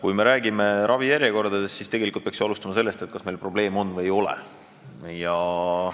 Kui me räägime ravijärjekordadest, siis tegelikult peaks ju alustama sellest, kas probleem on või seda ei ole.